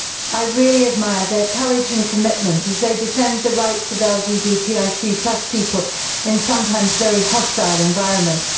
I really admire their courage and commitment as they defend the rights of LGBTIQ people in sometimes very hostile environments.